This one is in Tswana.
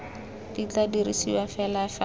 di tla dirisiwa fela fa